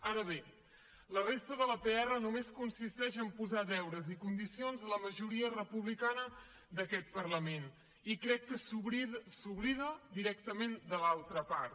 ara bé la resta de la pr només consisteix a posar deures i condicions a la majoria republicana d’aquest parlament i crec que s’oblida directament de l’altra part